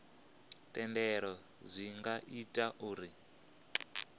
thendelo zwi nga ita uri